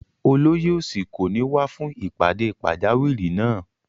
Olóyè òsì kò ní wá fún ìpàdé pàjáwìrì náà